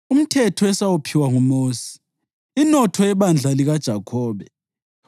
umthetho esawuphiwa nguMosi, inotho yebandla likaJakhobe.